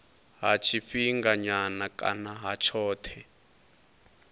ha tshifhinganyana kana ha tshothe